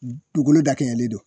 N duukolo da kɛɲɛlen don